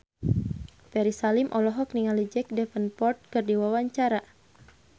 Ferry Salim olohok ningali Jack Davenport keur diwawancara